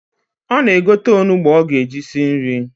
Ọ na-egote onugbu o ga-eji esi nri.